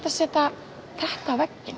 að setja þetta á vegginn